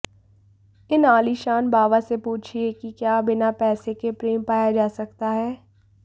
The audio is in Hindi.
इन आलीशान बाबा से पूछिए कि क्या बिना पैसे के प्रेम पाया जा सकता है